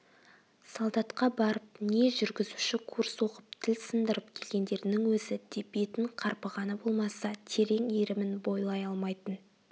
солдатқа барып не жүргізуші курс оқып тіл сындырып келгендерінің өзі де бетін қарпығаны болмаса терең иірімін бойлай алмайтын